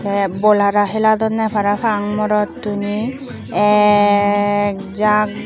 te bol hara hiladonne parapang morotune ek jak.